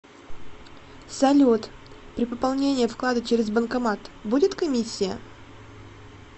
салют при пополнении вклада через банкомат будет комиссия